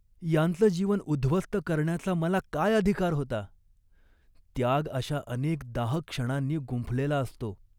यांचं जीवन उद्ध्वस्त करण्याचा मला काय अधिकार होता. त्याग अशा अनेक दाहक क्षणांनी गुंफलेला असतो